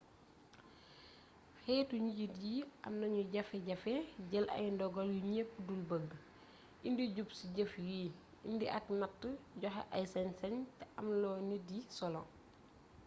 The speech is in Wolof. xéétu njiit yi am nañu jafejafe jël ay dogal yu ñëp dul beugu indi jub ci jëf yi indi ak natt joxé ay sañsañ té amloo nit yi solo